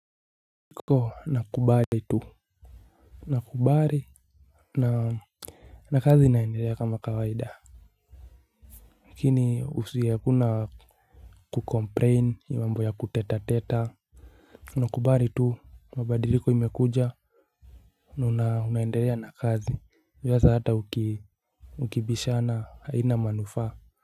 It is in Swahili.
Niko na kubali tu. Na kubali na na kazi inaendelea kama kawaida lakini usia kuna kukomplain hii mambo ya kuteta teta. Na kubali tu mabadiliko imekuja na unaendelea na kazi unaweza hata ukibishana haina manufaa.